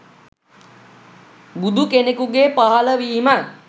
බුදුකෙනෙකුගේ පහළවීම